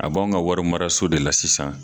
A b'anw ka wari maraso de la sisan.